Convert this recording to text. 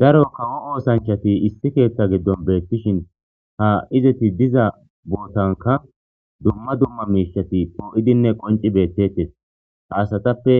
daro kawo oosanchati issi keeththa giddon beettishin ha izeti diza bootanka dumma dumma miishati poo7idinne qonci beettettes haasatappe